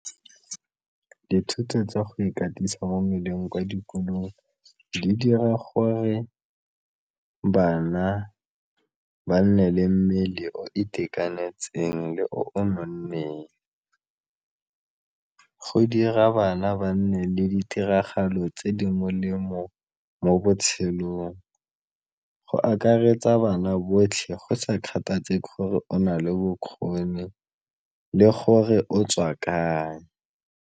Dithuto tsa go ikatisa mo mmeleng kwa dikolong di dira gore bana ba nne le mmele o itekanetseng le o nonneng, go dira bana ba nne le ditiragalo tse di molemo mo botshelong, go akaretsa bana botlhe go sa kgathalesege gore o na le bokgoni le gore o tswa kae.